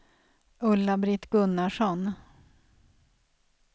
Ulla-Britt Gunnarsson